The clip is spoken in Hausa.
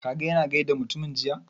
Ka ga ya na gaida mutumin jiya?